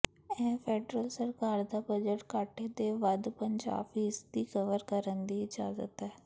ਇਹ ਫੈਡਰਲ ਸਰਕਾਰ ਦਾ ਬਜਟ ਘਾਟੇ ਦੇ ਵੱਧ ਪੰਜਾਹ ਫੀਸਦੀ ਕਵਰ ਕਰਨ ਦੀ ਇਜਾਜ਼ਤ ਹੈ